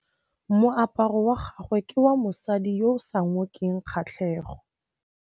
Moaparô wa gagwe ke wa mosadi yo o sa ngôkeng kgatlhegô.